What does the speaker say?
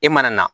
E mana na